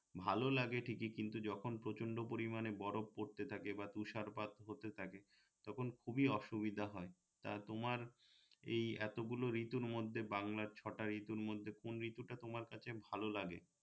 ভালো লাগে ঠিকই কিন্ত যখন প্রচন্ড পরিমানে বরফ পড়তে থাকে বা তুষারপাত হতে থাকে তখন খুবই অসুবিধে হয় তা তোমার এই এতগুলা ঋতুর মধ্যে বাংলার ছটা ঋতুর মধ্যে কোন ঋতুটা তোমার কাছে ভালো লাগে